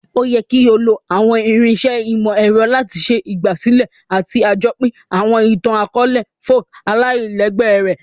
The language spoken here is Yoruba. O yẹ ki o lo àwọn irinṣẹ́ ìmọ̀-ẹrọ lati ṣe ìgbàsílẹ̀ àti sàjopín àwọn itan-akọọlẹ folk aláìlégbé rẹ.